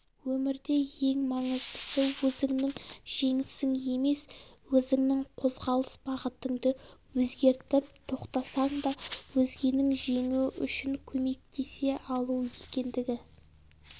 өмірде ең маңыздысы өзіңнің жеңісің емес өзіңнің қозғалыс бағытыңды өзгертіп тоқтасаң да өзгенің жеңуі үшін көмектесе алу екендігі